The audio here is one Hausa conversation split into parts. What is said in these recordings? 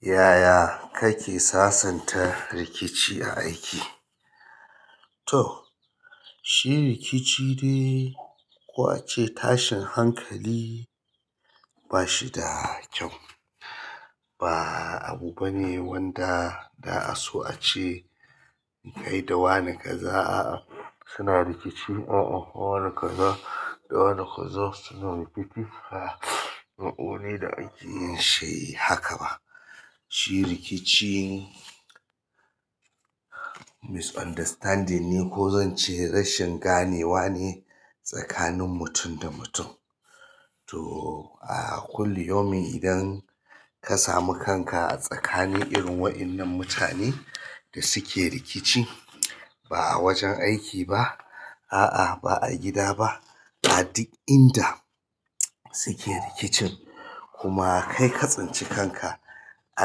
Yaya kake sasanta rikici a aiki? To shi rikici dai ko a ce tashin hankali ba shi da kyau. Ba abu bane wanda za a so a ce kai da wani kaza suna rikici. A'a wani kaza da wani kazo suna rikici. Ba wani da akeyin shi haka ba. Shi rikici misunderstanding ne ko zan ce rashin ganewa ne tsakanin mutum da mutum. To a kullum yaumin idan ka sami kanka a tsakanin irin waɗannan mutanen da suke rikici, ba a wajen aiki ba, a'a ba a gida ba, a duk inda suke rikicin kuma kai ka tsinci kanka a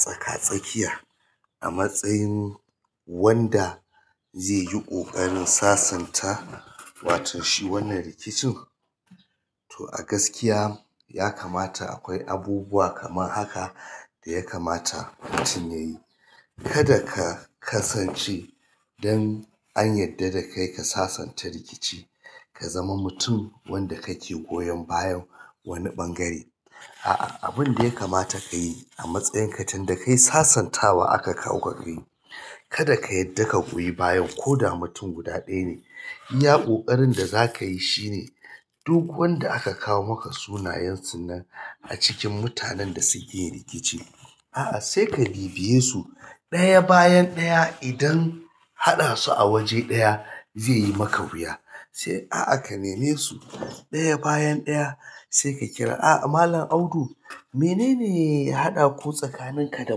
tsaka-tsakiya a matsayin wanda zai yi ƙoƙarin sasanta wato shi wannan rikicin. To a gaskiya ya kamata akwai abubuwa kamar haka da ya kamata mutum ya yi. Kada ka kasance don an yarda da kai ka sasanta rikici, ka zama mutum wanda kake goyon bayan wani ɓangare. Abinda yakamata kayi amatsayinka tunda kai sasantawa aka awo ka kayi kada ka yarda ka goyi bayan koda mutum guda ne iya ƙoƙarin da zakayi shine duk wanda aka kawo maka sunayensu nan acikin mutanen da sukeyin riciki sai ka bibiyesu ɗaya bayan ɗaya idan haɗa su a waje ɗaya zai yi maka wuya. Sai a'a ka neme su ɗaya bayan ɗaya sai ka kira, "A'a Malam Audu menene ya haɗa ku tsakaninka da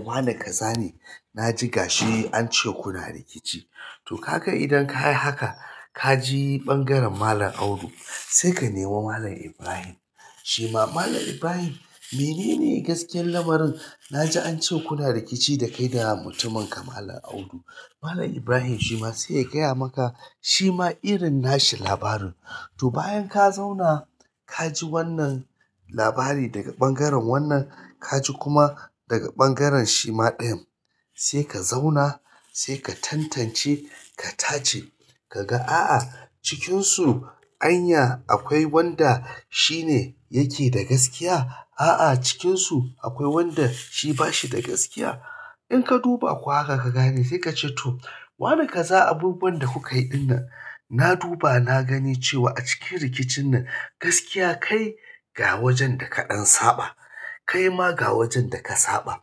Malam Ƙaza ne? Na ji ga shi an ce kuna rikici." to kaga idan kayi haka kaji ɓangaren malam audu sai ka nemi malam ibrahim shima malam ibrahim menen gaskiyan lamarin naji ance kuna rikici da mutuminka malam audu Malam Ibrahim shima sai ya gaya maka, "Shima irin nashi labarin." To bayan ka zauna ka ji wannan labari daga ɓangaren wannan, ka ji kuma daga ɓangaren shima ɗayan. Ka zauna sai ka tantance ka tace kaga a'a cikinsu anya akwai wanda shine yake da gaskiya. A'a cikinsu akwai wanda shi ba shi da gaskiya. In ka duba kuwa haka ka gane sai ka ce to, "Wani kaza abubuwan da kuka yi ɗinnan, na duba na gani cewa a cikin rikicin nan gaskiya kai ga wajen da kaɗan saɓa, kai ma ga wajen da ka saɓa."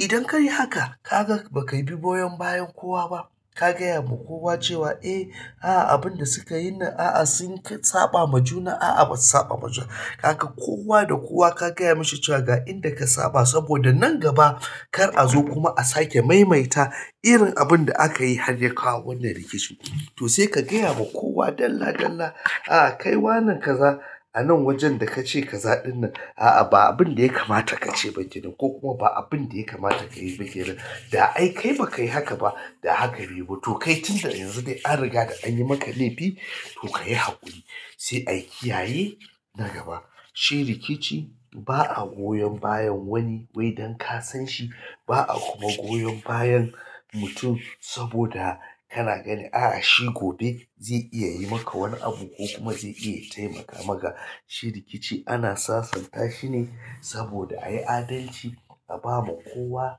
Idan ka yi haka ka ga ba ka bi goyon bayan kowa ba. Ka gaya ma kowa cewa eh a'a abin da suka yi nan a'a sun saɓa ma juna. A'a ba su saɓa ma juna. Gaka kowa da kowa ka gaya mashi cewa ga inda ka saɓa saboda nan gaba kar a zo kuma a sake maimaita irin abun da aka yi har ya kawo wannan rikicin. To sai ka gaya ma kowa dalla dalla, "A'a kai wane kaza a nan wajen da ka ce ka zaɗu nan a'a ba abin da ya kamata ka ce ba shine ko kuma ba abin da ya kamata ka yi ba kenan. Da ai kai ba ka yi haka ba da haka bai yi ba. To kai tun da yanzu dai an riga da an yi maka laifi to ka yi haƙuri." Sai a kiyaye na gaba. Shi rikici ba a goyon bayan wani wai dan ka san shi. Ba a kuma goyon bayan mutum saboda kana ganin a'a shi gobe zai iya yi maka wani abu ko kuma zai iya taimaka maka. Shi rikici ana sasanta shine saboda ayi adalci a bawa kowa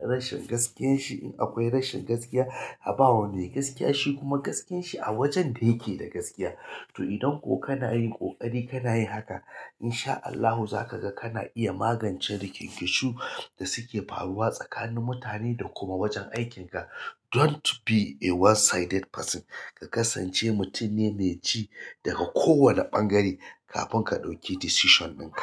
rashin gaskiyanshi in akwai rashin gaskiya. A bawa mai gaskiya shi kuma gaskiyanshi a wajen da yake da gaskiya. To idan ko kana yin ƙoƙari kana yin haka in sha Allahu za ka ga kana iya magance rikinciku da suke faruwa tsakanin mutane da kuma wajen aikinka. Don't be a one sided person. Ka kasance mutumne mai ji daga kowane ɓangare kafin ka ɗauki decision ɗinka.